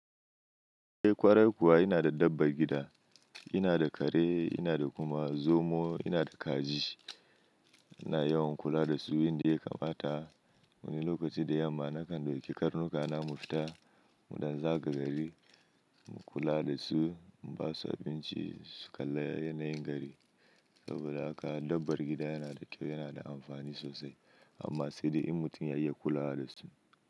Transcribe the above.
Eh ƙwarai kuwa, ina da dabbar gida. Ina da kare, ina da kuma zomo, ina da kaji. INa yawan kula da su, wanda ya kamata wani lokaci da yamma nakan ɗauki karnuka na mu fita muɗan zaga gari. Mu kula da su, mu basu abinci su kala yanayin gari. Saboda haka dabbar gida yana da kyau, yana da amfani sosai amma sai da in mutum ya iya kula da su.